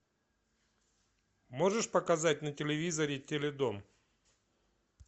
можешь показать на телевизоре теледом